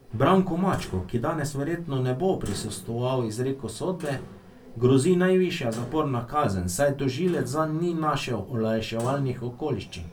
Branku Mačku, ki danes verjetno ne bo prisostvoval izreku sodbe, grozi najvišja zaporna kazen, saj tožilec zanj ni našel olajševalnih okoliščin.